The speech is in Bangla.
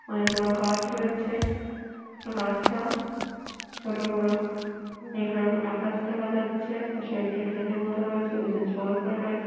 অনেক বড়ো গাছ রয়েছে রাস্তা ছোট বড়ো নীল রঙের আকাশ দেখা যাচ্ছে। পাশে একটি ড্রেনের মতো রয়েছে কিছু জল পরে রয়েছে।